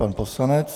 Pan poslanec .